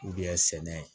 sɛnɛ